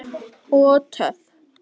Og töff!